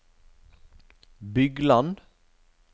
Bygland